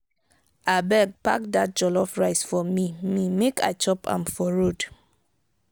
abeg pack dat jollof rice for me me make i chop am for road.